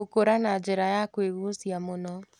Gũkũra na njĩra ya kwĩgucia mũno